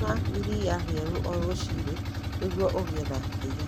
Nyua iria rĩerũ o rũcinĩ nĩguo ũgĩe na hinya.